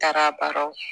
Taara a baaraw